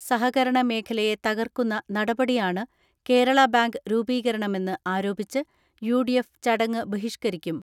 സഹകരണ മേഖലയെ തകർക്കുന്ന നടപടിയാണ് കേരള ബാങ്ക് രൂപീകരണ മെന്ന് ആരോപിച്ച് യു ഡി എഫ് ചടങ്ങ് ബഹിഷ്കരിക്കും.